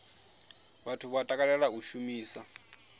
vhathu vha takalela u shumisa